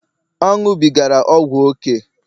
ọ ṅụbigara ọgwụ ókè